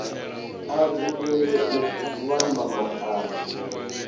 a dzulele u vhamba maano